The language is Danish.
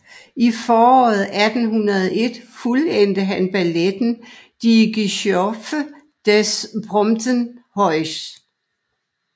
I foråret 1801 fuldendte han balletten Die Geschöpfe des Prometheus